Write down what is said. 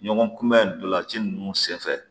Ɲɔgɔn kunbɛn ntolanci ninnu senfɛ